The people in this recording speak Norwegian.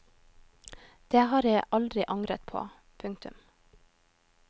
Det har jeg aldri angret på. punktum